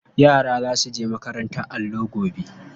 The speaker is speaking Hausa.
Yara za su je makarantar allo gobe.